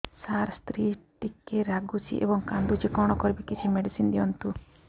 ସାର ସ୍ତ୍ରୀ ଟିକେ ରାଗୁଛି ଏବଂ କାନ୍ଦୁଛି କଣ କରିବି କିଛି ମେଡିସିନ ଦିଅନ୍ତୁ